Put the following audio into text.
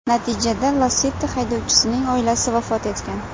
Natijada Lacetti haydovchisining oilasi vafot etgan.